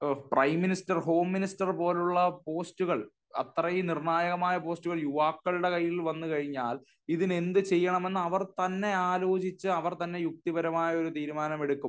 Prime minister, home minister പോലുള്ള പോസ്റ്റുകൾ അത്രയും നിർണായകമായ പോസ്റ്റുകൾ യുവാക്കളുടെ കൈയിൽ വന്നു കഴിഞ്ഞാൽ ഇതിന് എന്തു ചെയ്യണമെന്ന് അവർ തന്നെ ആലോചിച്ച് അവർ തന്നെ യുക്തിപരമായ ഒരു തീരുമാനമെടുക്കും.